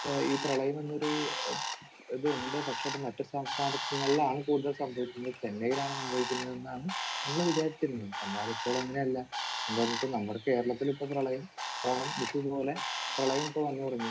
ഈ പ്രളയം എന്നൊരു ഏഹ് ഇത് ഉണ്ട്. പക്ഷെ അത് മറ്റു സംസ്ഥാനങ്ങളിലാണ് കൂടുതലും സംഭവിക്കുന്നത്. ചെന്നൈയിലാണ് സംഭവിക്കുന്നതെന്നാണ് നമ്മൾ വിചാരിച്ചിരുന്നത്. എന്നാൽ ഇപ്പോൾ അങ്ങനെയല്ല. എന്താണെന്ന് വെച്ചാൽ നമ്മുടെ കേരളത്തിലും ഇപ്പോൾ പ്രളയം ഓണം, വിഷു പോലെ പ്രളയം ഇപ്പോൾ വന്ന് തുടങ്ങി.